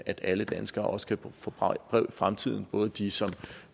at alle danskere også kan få breve i fremtiden både de som